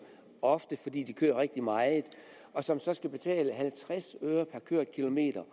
ofte fordi der køres rigtig meget og som så skal betale halvtreds øre per kørt kilometer